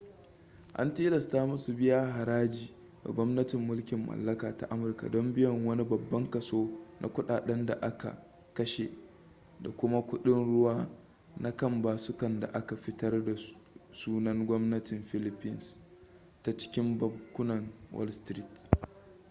an tilasta musu su biya haraji ga gwamnatin mulkin mallaka ta amurka don biyan wani babban kaso na kudaden da aka kashe da kuma kuɗin-ruwa na kan basukan da aka fitar da sunan gwamnatin philippines ta cikin bankunan wall street